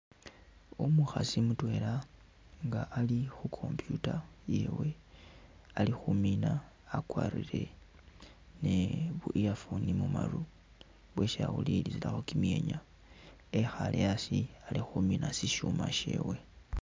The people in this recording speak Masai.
Omukhasi mutwela nga ali khu computer iyewe ali khumina akwarire nibu earphone mumaru bwesi awulilisilakho kimwenya ekhale asi ali khumina ishuma shewe.